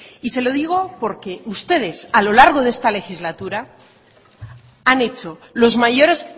y se lo digo porque ustedes a lo largo de esta legislatura han hecho los mayores